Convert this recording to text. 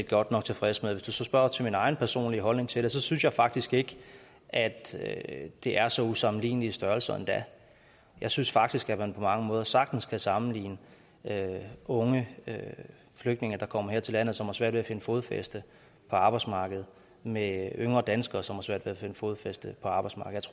godt nok tilfredse med hvis du så spørger til min egen personlige holdning til det så synes jeg faktisk ikke at at det er så usammenlignelige størrelser endda jeg synes faktisk at man på mange måder sagtens kan sammenligne unge flygtninge der kommer her til landet og har svært ved at finde fodfæste på arbejdsmarkedet med yngre danskere som har svært ved at finde fodfæste på arbejdsmarkedet